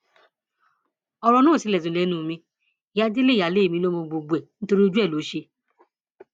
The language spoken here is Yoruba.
ọrọ náà ò tilẹ dùn lẹnu mi ìyá délé ìyáálé mi ló mọ gbogbo ẹ nítorí ojú ẹ ló ṣe